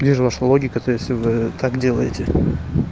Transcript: вижу ваща логика то есть вы так делаете